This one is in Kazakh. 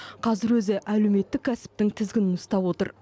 қазір өзі әлеуметтік кәсіптің тізгінін ұстап отыр